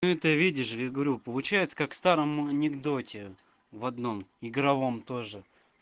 ты видишь я говорю получается как старом анекдоте в одном игровом тоже